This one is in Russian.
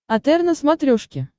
отр на смотрешке